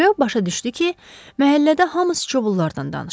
Röb başa düşdü ki, məhəllədə hamı sıçovullardan danışır.